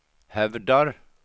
hävdar